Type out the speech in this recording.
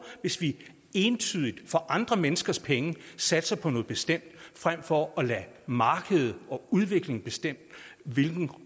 hvis vi entydigt for andre menneskers penge satser på noget bestemt frem for at lade markedet og udviklingen bestemme hvilken